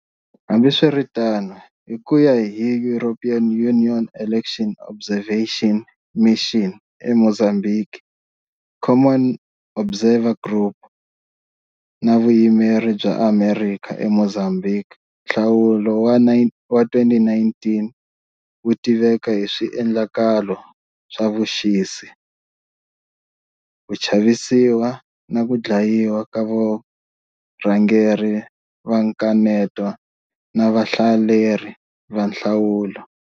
Hambiswiritano, hi ku ya hi European Union Election Observation Mission eMozambique, Commonwealth Observer Group, na Vuyimeri bya Amerika eMozambique, nhlawulo wa 2019 wu tiveka hi swiendlakalo swa vuxisi, ku chavisiwa, na ku dlayiwa ka varhangeri va nkaneto na vahlaleri va nhlawulo.